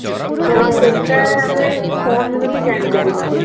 ତ ସେଟା ଆମେ phone ରୁ ବି ଜାଣିପାରିବା